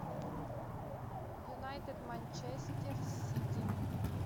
юнайтед манчестер сити